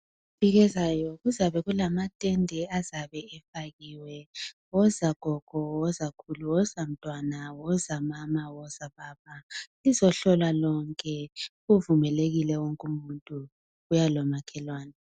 iviki ezayo kuzabe kulamatende azabe efakiwe woza gogo woza khulu woza mntwana woza mama woza baba lizohlolwa lonke kuvumelekile wonke umuntu buya lomakhelwane